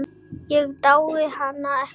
Ég dái hana ekki.